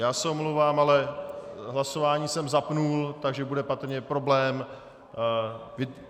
Já se omlouvám, ale hlasování jsem zapnul, takže bude patrně problém.